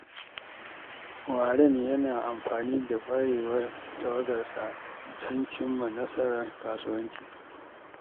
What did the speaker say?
Warren yana amfani da ƙwarewar tawagarsa don cimma nasarar kasuwanci.